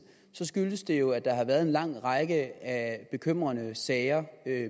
skyldes det jo at der har været en lang række af bekymrende sager